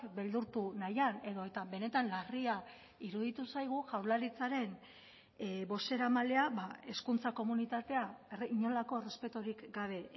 beldurtu nahian edota benetan larria iruditu zaigu jaurlaritzaren bozeramailea hezkuntza komunitatea inolako errespeturik gabe